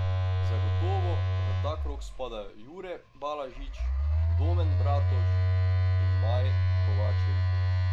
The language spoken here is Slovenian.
Zagotovo v ta krog spadajo Jure Balažić, Domen Bratož in Maj Kovačevič.